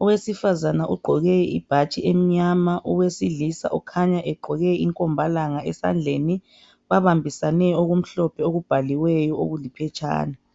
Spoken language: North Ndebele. Owesifazana ugqoke ibhatshi emnyama owesilisa ukhanya egqoke inkombalanga esandleni . Babambisene okumhlophe okubhaliweyo okuliphetshana.